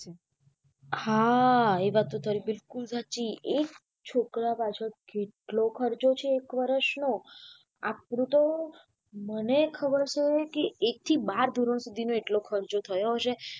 હા એ વાત તો તારી બિકુલ સાચી એક છોકરા પાંચ કેટલો ખર્ચો છે એક વરસ નો આપણું તો મને ખબર સે એક થી બાર ધોરણ સુધીનો એટલો ખર્ચો થયો હશે.